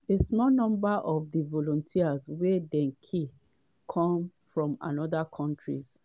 a small number of di volunteers wey dey killed come from oda countries.